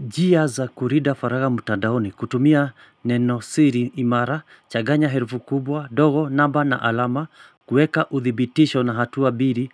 Njia za kulinda faragha mtandaoni, kutumia neno siri imara, changanya herufi kubwa, ndogo, namba na alama, kuweka uthibitisho na hatua mbili,